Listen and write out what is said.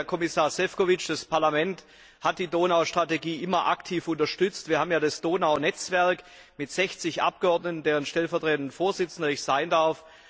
Herr Kommissar Šefčovič, das Parlament hat die Donau Strategie immer aktiv unterstützt. Wir haben das Donau Netzwerk mit 60 Abgeordneten, deren stellvertretender Vorsitzender ich sein darf.